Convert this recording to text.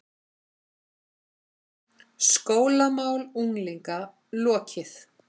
SKÓLAMÁL UNGLINGA LOKIÐ